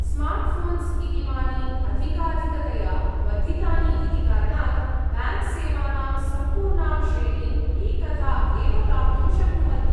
Smartphones इतीमानि अधिकाधिकतया वर्धितानि इति कारणात्, ब्याङ्क्सेवानां सम्पूर्णां श्रेणिम् एकधा एव प्राप्तुं शक्नुवन्ति।